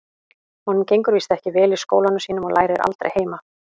Honum gengur víst ekki vel í skólanum sínum og lærir aldrei heima.